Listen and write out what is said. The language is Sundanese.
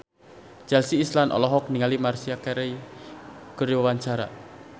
Chelsea Islan olohok ningali Maria Carey keur diwawancara